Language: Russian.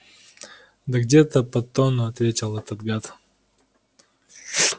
да где-то под тонну ответил этот гад